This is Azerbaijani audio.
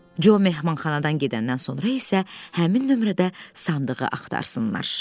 Co mehmanxanadan gedəndən sonra isə həmin nömrədə sandığı axtarsınlar.